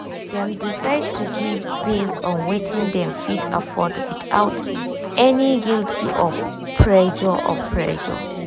dem decide to give based on wetin dem fit afford without any guilt or pressure. or pressure.